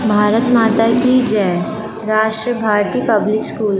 भारत माता की जय Rashtra Bharati public school.